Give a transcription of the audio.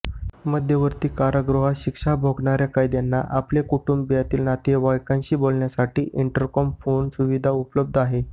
मध्यवर्ती कारागृहात शिक्षा भोगणाऱ्या कैद्यांना आपल्या कुटुंबातील नातेवाइकांशी बोलण्यासाठी इंटरकॉम फोन सुविधा उपलब्ध आहे